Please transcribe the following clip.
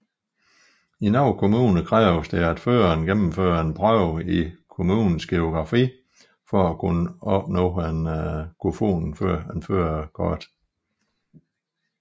I nogle kommuner kræves det at føreren gennemfører en prøve i kommunens geografi for at kunne opnå et førerkort